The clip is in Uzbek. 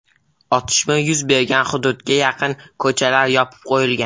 Otishma yuz bergan hududga yaqin ko‘chalar yopib qo‘yilgan.